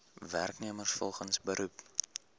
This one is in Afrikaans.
werknemers volgens beroep